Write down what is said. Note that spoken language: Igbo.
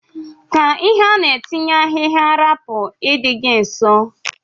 Ka ihe ana etinye ahigha rapu idi gi nso.